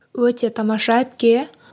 өте тамаша әпке